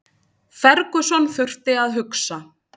Ferguson þurfti að hugsa